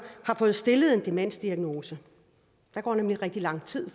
har fået stillet en demensdiagnose der går nemlig rigtig lang tid